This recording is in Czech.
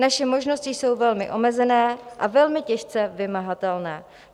Naše možnosti jsou velmi omezené a velmi těžce vymahatelné.